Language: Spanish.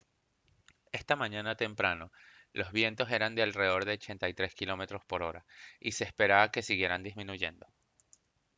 esta mañana temprano los vientos eran de alrededor de 83 km/h y se esperaba que siguieran disminuyendo